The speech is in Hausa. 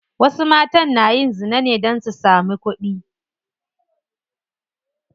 Wasu matan suna yin zina ne don su samu kudi.